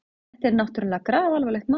Þetta er náttúrlega grafalvarlegt mál.